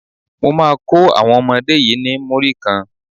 Mo má kó àwọn ọmọdé yí ni Múrí kan.